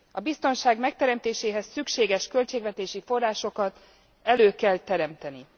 A biztonság megteremtéséhez szükséges költségvetési forrásokat elő kell teremteni.